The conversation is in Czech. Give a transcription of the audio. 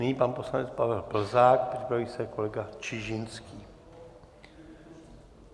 Nyní pan poslanec Pavel Plzák, připraví se kolega Čižinský.